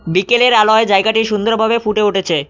বিকেলের আলোয় জায়গাটি সুন্দরভাবে ফুটে উঠেছে।